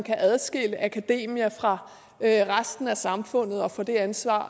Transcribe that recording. kan adskille akademia fra resten af samfundet og fra det ansvar